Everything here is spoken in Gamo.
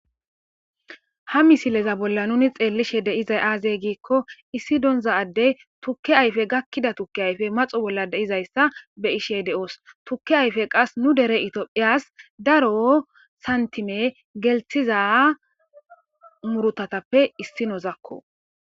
ha misileza bolla nuni xeellishe de'izay aaze giikko issi donza addey tukke ayfe gakkida tukke ayfe maxo bolla deizayssa be ishe de'oos tukke ayfe qas nu dere itiophiyas daro santime gelthiza murutatappe issinozakko